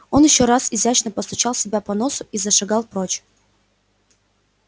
он ещё раз изящно постучал себя по носу и зашагал прочь